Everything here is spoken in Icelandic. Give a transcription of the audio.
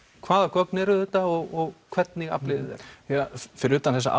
hvaða gögn eru þetta og hvernig afliði þeirra fyrir utan þessa